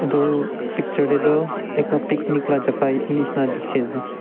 Tuh picture dae toh akel picnic la jaka etu neshina dekhey ase.